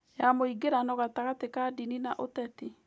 ya mũingĩrano gatagatĩ ka ndini na ũteti